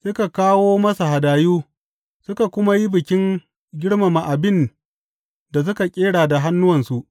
Suka kawo masa hadayu suka kuma yi bikin girmama abin da suka ƙera da hannuwansu.